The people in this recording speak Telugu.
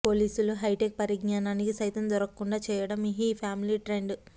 పోలీసుల హైటెక్ పరిజ్ఞానానికి సైతం దొరకకుండా చేయడం ఈ ఫ్యామిలీ ట్రెండ్